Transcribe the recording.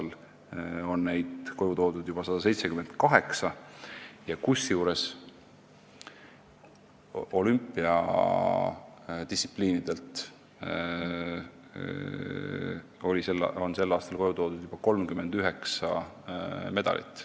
Sel aastal on neid koju toodud juba 178, kusjuures olümpiadistsipliinidelt on saadud 39 medalit.